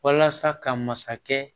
Walasa ka masakɛ